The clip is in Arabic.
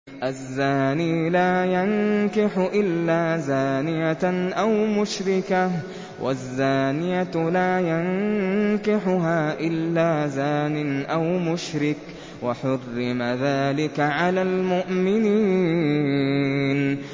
الزَّانِي لَا يَنكِحُ إِلَّا زَانِيَةً أَوْ مُشْرِكَةً وَالزَّانِيَةُ لَا يَنكِحُهَا إِلَّا زَانٍ أَوْ مُشْرِكٌ ۚ وَحُرِّمَ ذَٰلِكَ عَلَى الْمُؤْمِنِينَ